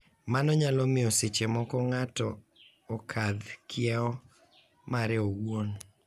Mano nyalo miyo seche moko ng’ato okadh kieu mare owuon.